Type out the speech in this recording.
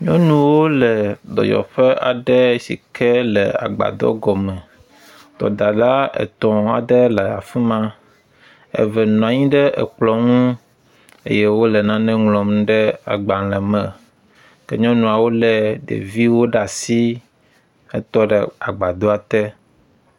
Nyɔnuwo le dɔyɔƒe aɖe sike le agbadɔ gɔme, dɔdala etɔ̃ aɖe nɔ afima, eve nɔnyi ɖe ekplɔ̃ ŋu eye wole nane ŋlɔm ɖe agbalẽ me ke nyɔnuawo le ɖeviwo ɖe asi hetɔ ɖe agbadɔa te.